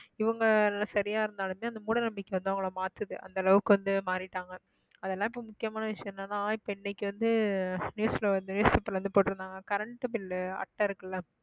இவங்க எல்லாம் சரியா இருந்தாலுமே அந்த மூட நம்பிக்கை வந்து அவங்களை மாத்துது அந்த அளவுக்கு வந்து மாறிட்டாங்க அதெல்லாம் இப்ப முக்கியமான விஷயம் என்னன்னா இப்ப இன்னைக்கு வந்து news ல வந்து newspaper ல இருந்து போட்டிருந்தாங்க current bill அட்டை இருக்குல்ல